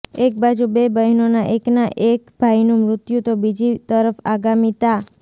એક બાજુ બે બહેનોના એકના એક ભાઈનું મૃત્યુ તો બીજી તરફ આગામી તા